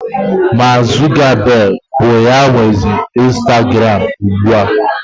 Maak Zukabeg bụ ya nwezi Instaguram ugbu a.